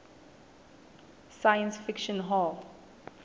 science fiction hall